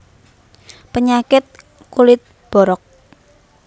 Penyakit kulit borok